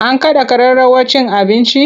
An kada kararrawar cin abincin?